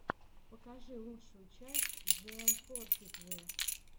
покажи лучшую часть джиэмфортиджи